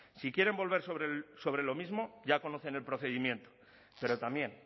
si quieren volver sobre lo mismo ya conocen el procedimiento pero también